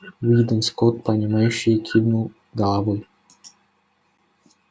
уидон скотт понимающе кивнул головой